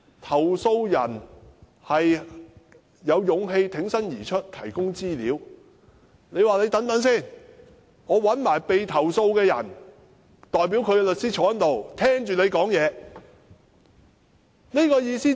投訴人有勇氣挺身而出提供資料，但港鐵公司說等一等，要找被投訴的人的代表律師坐在這裏，聽投訴人說話。